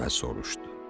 dəvə soruşdu.